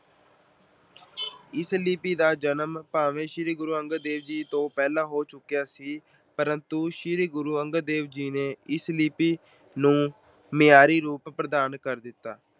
ਇਸ ਲਿੱਪੀ ਦਾ ਜਨਮ ਭਾਵੇਂ ਸ਼੍ਰੀ ਗੁਰੂ ਅੰਗਦ ਦੇਵ ਜੀ ਤੋਂ ਪਹਿਲਾਂ ਹੋ ਚੁੱਕਿਆ ਸੀ ਪਰ ਸ਼੍ਰੀ ਗੁਰੂ ਅੰਗਦ ਦੇਵ ਜੀ ਨੇ ਇਸ ਲਿੱਪੀ ਨੂੰ ਮਿਆਰੀ ਰੂਪ ਪ੍ਰਦਾਨ ਕਰ ਦਿੱਤਾ।